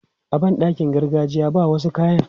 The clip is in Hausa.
A ban ɗakin gargajiya, ba wasu kayan.